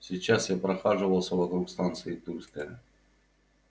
сейчас я прохаживался вокруг станции тульская